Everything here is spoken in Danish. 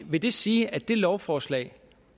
vil det sige at det lovforslag